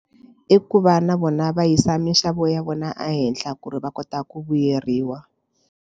I ku va na vona va yisa mixavo ya vona ehenhla ku ri va kota ku vuyeriwa.